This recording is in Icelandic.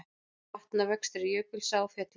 Vatnavextir í Jökulsá á Fjöllum